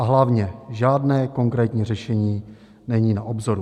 A hlavně - žádné konkrétní řešení není na obzoru.